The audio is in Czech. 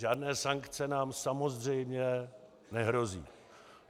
Žádné sankce nám samozřejmě nehrozí.